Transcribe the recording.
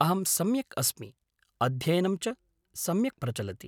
अहं सम्यक् अस्मि, अध्ययनं च सम्यक् प्रचलति।